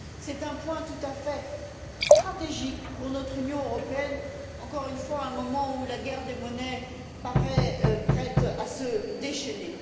C'est un point tout à fait stratégique pour notre Union européenne, encore une fois à un moment où la guerre des monnaies paraît prête à se déchaîner.